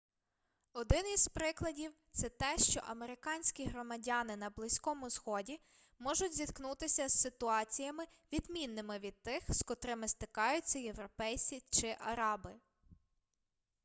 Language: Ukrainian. один із прикладів це те що американські громадяни на близькому сході можуть зіткнутися з ситуаціями відмінними від тих з котрими зтикаються європейці чи араби